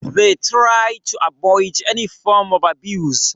They tried to avoid any form of abuse